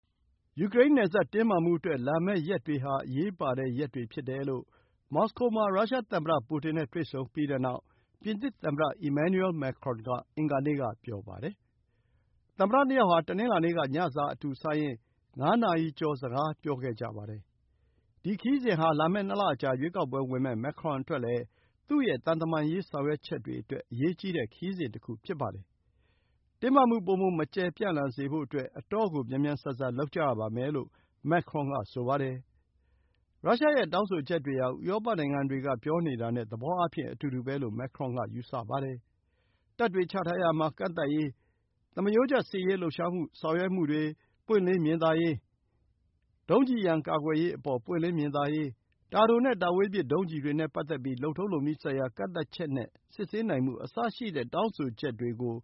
ယူကရိန်းနယ်စပ်တင်းမာမှုအတွက် လာမယ့်ရက်တွေဟာ အရေးပါတဲ့ရက်တွေ ဖြစ်တယ်လို့ မော်စကိုမှာ ရုရှားသမ္မတပူတင်နဲ့ တွေ့ဆုံပြီးနောက် ပြင်သစ်သမ္မတ Emmanuel Macron က အင်္ဂါနေ့က ပြောပါတယ်။ သမ္မတ ၂ ယောက်ဟာ တနင်္လာနေ့က ညစာအတူစားရင်း ငါးနာရီကျော် စကားပြောခဲ့ကြပါတယ်။ ဒီခရီးစဉ်ဟာ လာမယ့် ၂ လအကြာ ရွေးကောက်ပွဲဝင်မယ့် မာခရွန်အတွက်လည်း သူ့ရဲ့ သံတမန်ရေး ဆောင်ရွက်ချက်တွေအတွက် အရေးကြီးတဲ့ ခရီးစဉ်တခု ဖြစ်ပါတယ်။ တင်းမာမှု ပိုမို မကျယ်ပြန့်လာစေဖို့ အတော်ကို မြန်မြန်ဆန်ဆန် လုပ်ကြရပါမယ်လို့ မာခရွန်ကဆိုပါတယ်။ ရုရှားရဲ့တောင်းဆိုချက်တွေဟာ ဥရောပနိုင်ငံတွေက ပြောနေတာနဲ့ သဘောအားဖြင့် အတူတူပဲလို့ မာခရွန်က ယူဆပါတယ်။ တပ်တွေချထားရာမှာ ကန့်သတ်ရေး၊ သမရိုးကျ စစ်ရေးလှုပ်ရှားဆောင်ရွက်မှုတွေ ပွင့်လင်းမြင်သာရေး၊ ဒုံးကျည်ရန် ကာကွယ်ရေးအပေါ် ပွင့်လင်းမြင်သာရေး၊ တာတိုနဲ့ တာဝေးပစ် ဒုံးကျည်တွေနဲ့ပတ်သက်ပြီး လုပ်ထုံးလုပ်နည်းဆိုင်ရာကန့်သတ်ချက်နဲ့ စစ်ဆေးနိုင်မှုအစရှိတဲ့ တောင်းဆိုချက်တွေကို